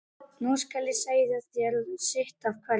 Nú skal ég segja þér sitt af hverju.